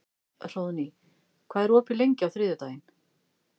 Hróðný, hvað er opið lengi á þriðjudaginn?